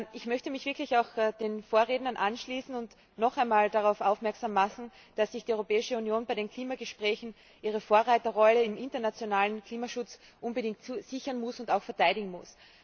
Ich möchte mich den Vorrednern anschließen und noch einmal darauf aufmerksam machen, dass sich die Europäische Union bei den Klimagesprächen ihre Vorreiterrolle im internationalen Klimaschutz unbedingt sichern und diese auch verteidigen muss.